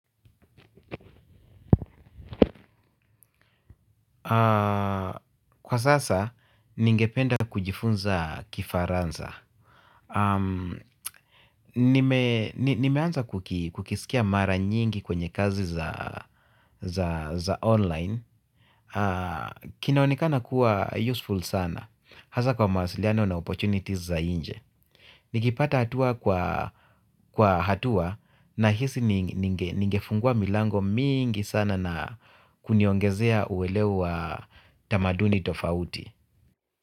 Kwa sasa, ninge penda kujifunza kifaransa. Nimeanza kukisikia mara nyingi kwenye kazi za online. Kina onekana kuwa useful sana. Hasa kwa mawasiliano na opportunities za nje. Nikipata hatua kwa hatua na hisi ningefungua milango mingi sana na kuniongezea uwelewa tamaduni tofauti.